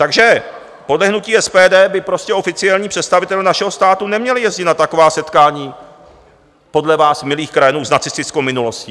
Takže podle hnutí SPD by prostě oficiální představitelé našeho státu neměli jezdit na taková setkání podle vás milých krajanů s nacistickou minulostí.